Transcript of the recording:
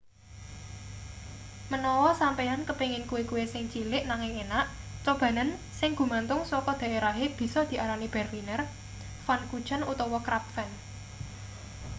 menawa sampeyan kepengin kue-kue sing cilik nanging enak cobanen sing gumantung saka daerahe bisa diarani berliner pfannkuchen utawa krapfen